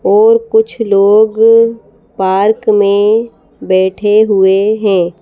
और कुछ लोग पार्क मे बैठे हुए हैं।